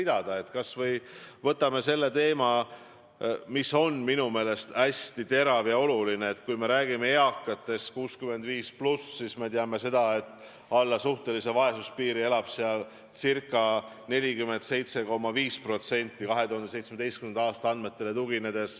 Võtame kas või selle teema, mis on minu meelest hästi terav ja oluline, et üle 65-aastastest eakatest ca 47,5% elab alla suhtelise vaesuspiiri, tuginedes 2017. aasta andmetele.